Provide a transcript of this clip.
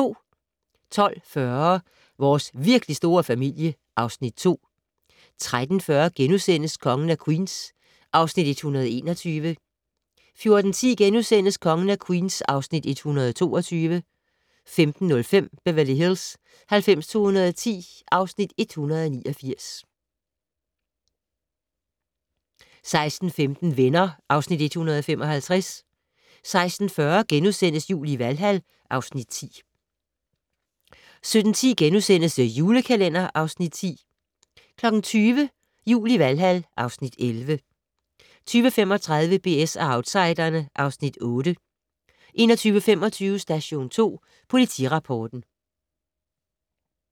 12:40: Vores virkelig store familie (Afs. 2) 13:40: Kongen af Queens (Afs. 121)* 14:10: Kongen af Queens (Afs. 122)* 15:05: Beverly Hills 90210 (Afs. 189) 16:15: Venner (Afs. 155) 16:40: Jul i Valhal (Afs. 10)* 17:10: The Julekalender (Afs. 10)* 20:00: Jul i Valhal (Afs. 11) 20:35: BS & Outsiderne (Afs. 8) 21:25: Station 2 Politirapporten